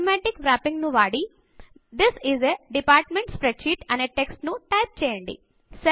automatic wrapping ను వాడి this is a department spreadsheet అనే టెక్స్ట్ ను టైప్ చేయండి